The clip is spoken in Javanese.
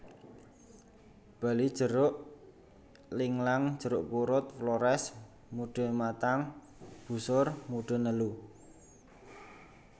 Bali jeruk linglang jeruk purut Flores mude matang busur mude nelu